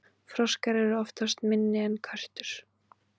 froskar eru oftast minni en körtur